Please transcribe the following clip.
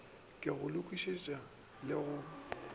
ke go lokišetša le go